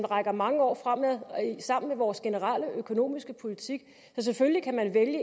rækker mange år frem hænger sammen med vores generelle økonomiske politik selvfølgelig er det